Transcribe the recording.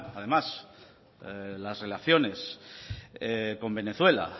además las relaciones con venezuela